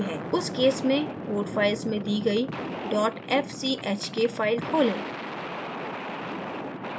उस case में code file में दी गयी fchk file खोलें